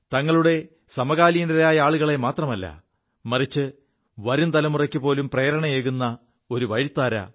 തങ്ങളുടെ സമകാലീനരായ ആളുകളെ മാത്രമല്ല മറിച്ച് വരും തലമുറയ്ക്കു പോലും പ്രേരണയേകു ഒരു വഴിത്താര